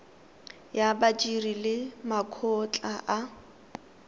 ya badiri le makgotla a